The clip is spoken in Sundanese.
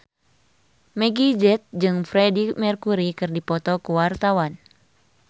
Meggie Z jeung Freedie Mercury keur dipoto ku wartawan